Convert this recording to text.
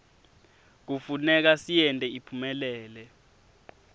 kufuneka siyente iphumelele